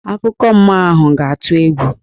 Akụkọ mmụọ ahụ ga-atụ egwu.